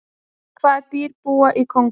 hvaða dýr búa í kongó